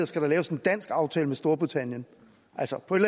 skal der laves en dansk aftale med storbritannien altså på et